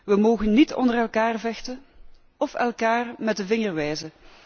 Wij mogen niet onder elkaar vechten of elkaar met de vinger wijzen.